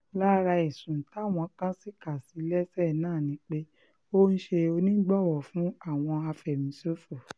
lára ẹ̀sùn táwọn kan sì kà sí i lẹ́sẹ̀ náà ni pé ó ń ṣe onígbọ̀wọ́ fún àwọn afẹ̀míṣòfò